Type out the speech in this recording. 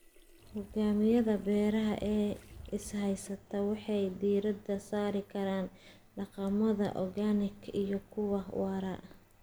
Nidaamyada beeraha ee is haysta waxay diiradda saari karaan dhaqamada organic iyo kuwa waara.